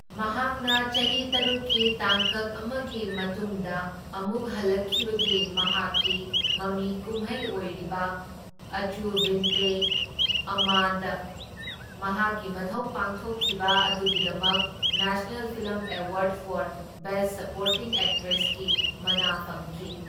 ꯃꯍꯥꯛꯅ ꯆꯍꯤ ꯇꯔꯨꯛꯀꯤ ꯇꯥꯡꯀꯛ ꯑꯃꯒꯤ ꯃꯇꯨꯡꯗ ꯑꯃꯨꯛ ꯍꯜꯂꯛꯈꯤꯕꯒꯤ ꯃꯍꯥꯛꯀꯤ ꯃꯃꯤ ꯀꯨꯝꯍꯩ ꯑꯣꯏꯔꯤꯕ, ꯑꯆꯨꯚꯤꯟꯇꯦ ꯑꯝꯃꯥꯗ ꯃꯍꯥꯛꯀꯤ ꯃꯊꯧ ꯄꯥꯡꯊꯣꯛꯈꯤꯕ ꯑꯗꯨꯒꯤꯗꯃꯛ national film award for best supporting ꯑꯦꯛꯇ꯭ꯔꯦꯁꯀꯤ ꯃꯅꯥ ꯐꯪꯈꯤ꯫